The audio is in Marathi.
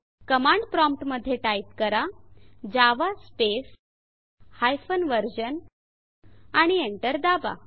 कमांड प्रॉम्प्ट मध्ये टाइप करा जावा स्पेस हायफेन व्हर्शन आणि एंटर दाबा